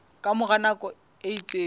ka mora nako e itseng